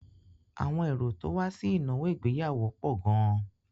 Àwọn èrò tó wá sí ìnáwó ìgbéyàwó pọ̀ gan-an.